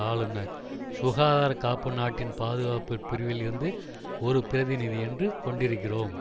ஆளுனர் சுகாதாரக்காப்பு நாட்டின் பாதுகாப்பு பிரிவில் இருந்து ஒரு பிரதிநிதி என்று கொண்டிருக்கிறோம்